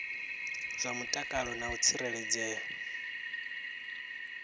zwa mutakalo na u tsireledzea